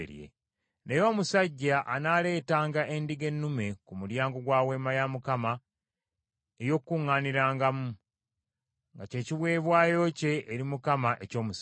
Naye omusajja anaaleetanga endiga ennume ku mulyango gwa Weema ey’Okukuŋŋaanirangamu, nga ky’ekiweebwayo kye eri Mukama eky’omusango.